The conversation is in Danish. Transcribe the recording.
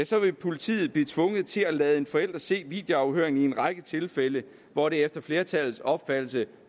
så vil politiet blive tvunget til at lade en forælder se videoafhøringen i en række tilfælde hvor det efter flertallets opfattelse